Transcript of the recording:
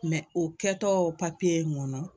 o kɛtɔ in kɔnɔ